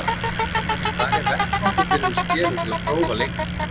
En hvar er vettvangur fyrir þessi félög til að prófa leikmenn?